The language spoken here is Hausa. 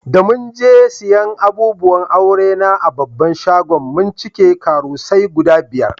Da mun je siyan abubuwan aure na a babban shagon, mun cike karusai guda biyar.